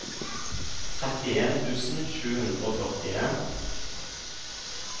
trettien tusen sju hundre og førtien